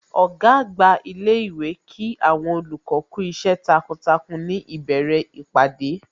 Ọ̀gá àgbà ilé ìwé Kí àwọn olùkọ́ kú iṣẹ́ takuntakun ní ìbẹ̀rẹ̀ ìpàdé